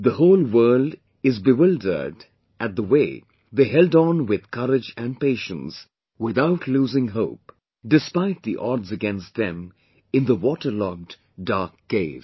The whole world is be wildered at the way they held on with courage and patience, without losing hope, despite the odds against them in the waterlogged dark cave